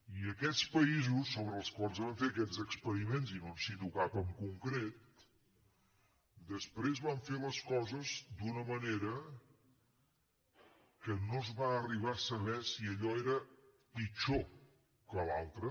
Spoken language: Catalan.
i aquests països sobre els quals van fer aquests experiments i no en cito cap en concret després van fer les coses d’una manera que no es va arribar a saber si allò era pitjor que l’altra